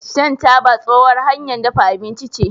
shan taba tsohuwar hanyar dafa abinci ce